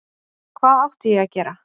Hvað átti ég að gera?